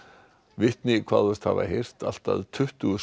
vitni kváðust hafa heyrt allt að tuttugu